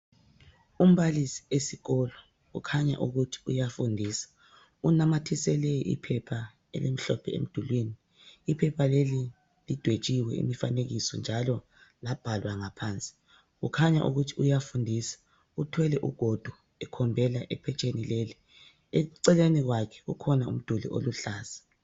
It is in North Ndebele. Umbalisi esikolo ukhanya ukuthi uyafundisa unamathisele iphepha elimhlophe emdulwini iphepha leli lidwetshiwe imifanekiso njalo labhalwa ngaphansi kukhanya ukuthi uyafundisa uthwele ugodo ekhombela ephetsheni leli eceleni kwakhe kukhona umduli oluhlaza